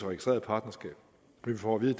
registreret partnerskab men vi får at vide